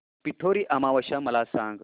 पिठोरी अमावस्या मला सांग